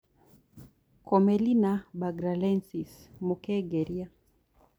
Commelinabanghalensis Mũkengeria